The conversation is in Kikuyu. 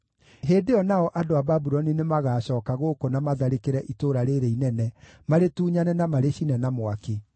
Hĩndĩ ĩyo nao andũ a Babuloni nĩmagacooka gũkũ na matharĩkĩre itũũra rĩĩrĩ inene, marĩtunyane na marĩcine na mwaki.’